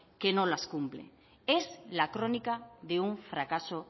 que nos las cumple es la crónica de un fracaso